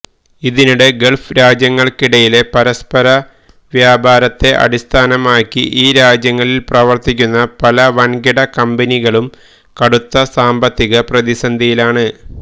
ഇതിനിടെ ഗള്ഫ് രാജ്യങ്ങള്ക്കിടയിലെ പരസ്പര വ്യാപാരത്തെ അടിസ്ഥാനമാക്കി ഈ രാജ്യങ്ങളില് പ്രവര്ത്തിക്കുന്ന പല വന്കിട കമ്പനികളും കടുത്ത സാമ്പത്തിക പ്രതിസന്ധിയിലാണ്